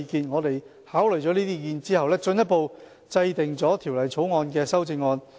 我們考慮了這些意見後，進一步制定了《條例草案》的修正案。